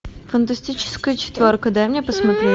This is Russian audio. фантастическая четверка дай мне посмотреть